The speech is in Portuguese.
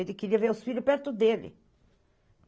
Ele queria ver os filhos perto dele.